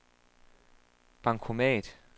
bankomat